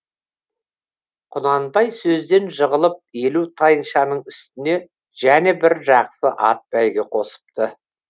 құнанбай сөзден жығылып елу тайыншаның үстіне және бір жақсы ат бәйге қосыпты